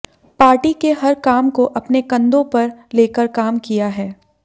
party के हर काम को अपने कंदों पर लेकर काम किया है